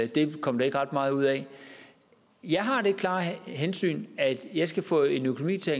det kom der ikke ret meget ud af jeg har det klare hensyn at jeg skal få en økonomi til at